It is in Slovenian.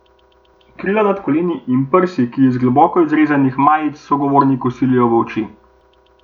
Krila nad koleni in prsi, ki iz globoko izrezanih majic sogovorniku silijo v oči.